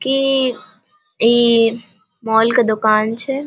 की इ मॉल के दुकान छै।